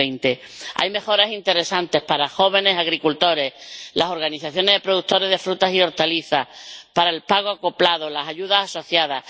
2020. Hay mejoras interesantes para los jóvenes agricultores, las organizaciones de productores de frutas y hortalizas, el pago acoplado o las ayudas asociadas.